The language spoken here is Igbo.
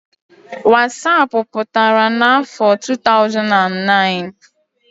wasapụ pụtara n'afọ 2009